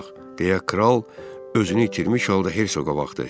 deyə kral özünü itirmiş halda Herqoqa baxdı.